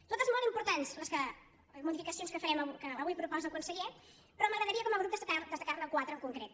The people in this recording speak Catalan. totes molt importants les modificacions que avui proposa el conseller però m’agradaria com a grup destacar ne quatre en concret